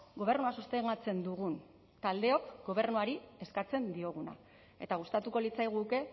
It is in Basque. gobernua sostengatzen dugun taldeok gobernuari eskatzen dioguna eta gustatuko litzaiguke